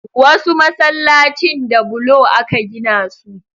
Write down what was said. Wasu masallacin da bulo aka gina su